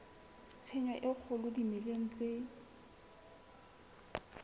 tshenyo e kgolo dimeleng tse